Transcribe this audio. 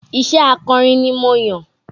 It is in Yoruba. Iṣé akọrin ni mo yàn